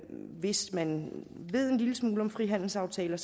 hvis man ved en lille smule om frihandelsaftaler